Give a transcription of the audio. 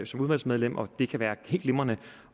som udvalgsmedlem og det kan være helt glimrende